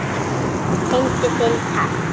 Fyndu þinn takt